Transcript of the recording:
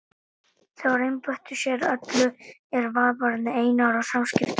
Þeir einbeittu sér að öllu er varðaði Einar og samskipti okkar.